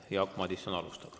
Jaak Madison alustab.